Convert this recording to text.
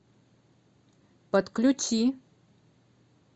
подключи